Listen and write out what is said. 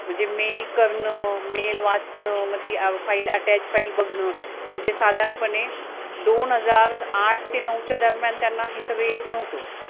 म्हणजे mail करणं mail वाचणं, म ती attach file बघणं, म्हणजे साधारणपणे दोन हजार आठ ते नऊ च्या दरम्यान त्यांना हे सगळं येत नव्हतं